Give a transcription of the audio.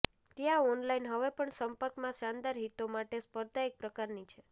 ત્યાં ઓનલાઇન હવે પણ સંપર્કમાં શાનદાર હિતો માટે સ્પર્ધા એક પ્રકારની છે